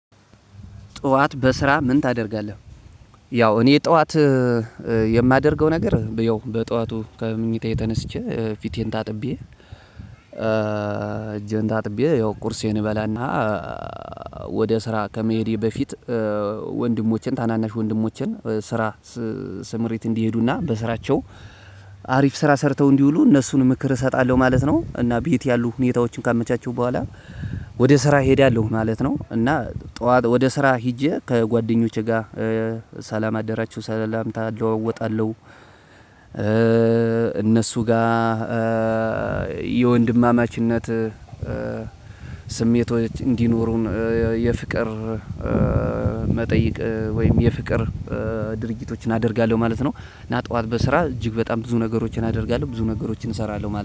ጠዋት በስራ ምን ታደርጋለህ? ያው እኔ ጠዋት የማደርገው ነገር ያው በጠዋቱ ከምኝታዬ ተነሳቼ ፊቴን ታጥቤ እጄን ታጥቤ ያው ቁርሴን እበላና። ወደ ስራ ከመሄዴ በፊት ወንድሞቼን ታናናሽ ወንድሞቼን ስራ ስምሪት እንዲሄዱና በስራቸው አሪፍ ስራ ሰርተው እንዲውሉ እነሱን ምክር እሰጣለሁ ማለት ነው። እና ቤት ያሉ ሁኔታዎችን ካመቻቸሁ በኋላ ወደ ስራ እሄዳለሁ ማለት ነው። እና ጠዋት ወደ ስራ ሄጄ ከጓደኞቼ ጋር ሰላም አደራችሁ ሰላምታ እለዋወጣለሁ። እነሱ ጋር የወንድማማችነት ስሜቶች እንዲኖሩን የፍቅር መጠይቅ ወይም የፍቅር ድርጊቶችን አደርጋለሁ ማለት ነው። እና ጠዋት በስራ እጅግ በጣም ብዙ ነገሮችን አደርጋለሁ ብዙ ነገሮችን እሰራለሁ